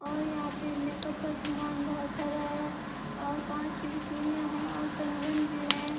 और यहां पे मेकअप का सामान बहुत सारा है और कांच की भी चूड़ियां हैं और कंगन भी हैं।